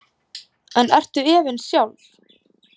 En ertu efins sjálf?